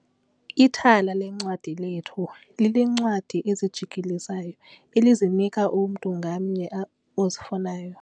Ithala leencwadi lethu lineencwadi ezijikelezayo elizinika umntu ngamnye ozifunayo.